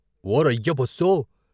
ఓరయ్య బస్సో!